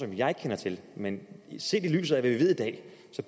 jeg ikke kender til men set i lyset af hvad vi ved i dag